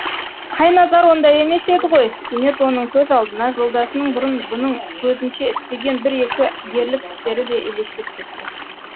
қайназар ондай емес еді ғой кенет оның көз алдына жолдасының бұрын бұның көзінше істеген бір екі ерлік істері де елестеп кетті